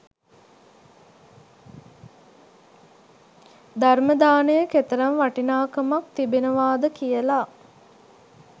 ධර්ම දානය කෙතරම් වටිනාකමක් තිබෙනවාද කියලා